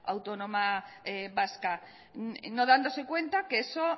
autónoma vasca no dándose cuenta que eso